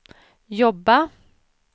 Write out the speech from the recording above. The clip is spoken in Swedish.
jobba